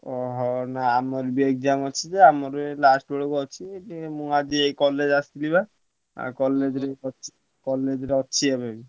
ଓହୋ ଆମର ବି exam ଅଛି ଯେ ଆମର last ବେଳକୁ ଅଛି ମୁଁ ଆଜି ଏଇ college ଆସିଥିଲି ବା ଆଉ college ରେ ଅଛି college ରେ ଅଛି ଏବେ ବି।